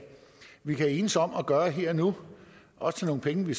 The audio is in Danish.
vi kan enes om at gøre her og nu og til nogle penge